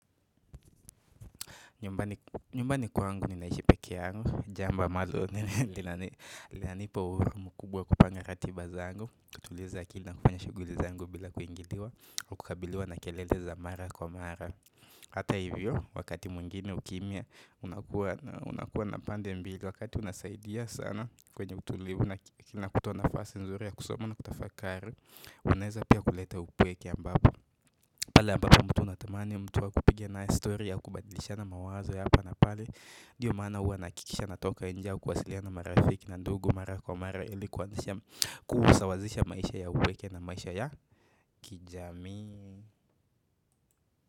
Nyumbani kwangu ninaishi peke yangu, jambo ambalo linani lianipa uhuru mkubwa wa kupanga ratiba zangu, kutuliza akili na kufanya shughuli zangu bila kuingiliwa, au kukabiliwa na kelele za mara kwa mara. Hata hivyo, wakati mwingini ukimya, unakuwa unakuwa na pande mbili wakati unasaidia sana kwenye utulivu na kila kutoa nafasi nzuri ya kusoma na kutafakari, unaeza pia kuleta ukupweke ambapo pale ambapo mtu anatamani mtu wa kupiga naye story au kubadilishana mawazo ya hapa na pale ndiyo maana huwa nahakikisha natoka nje kuwasiliana na marafiki na ndugu mara kwa mara ili kuanzisha m kusawazisha maisha ya upweke na maisha ya kijamii.